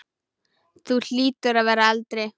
Þú hlýtur að vera eldri!